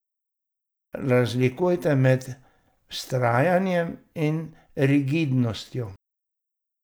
Razlikujte med vztrajanjem in rigidnostjo.